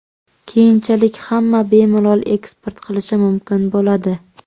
Keyinchalik hamma bemalol eksport qilishi mumkin bo‘ladi.